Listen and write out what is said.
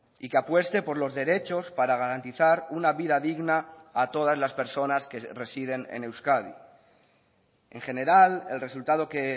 y que apueste por los derechos para garantizar una vida digna a todas las personas que residen en euskadi en general el resultado que